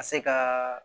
Ka se ka